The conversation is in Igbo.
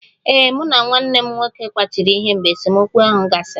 Ee, mụ na nwanne m nwoke kwachiri ihe mgbe esemokwu ahụ gasịrị